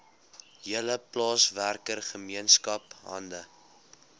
hele plaaswerkergemeenskap hande